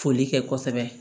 Foli kɛ kosɛbɛ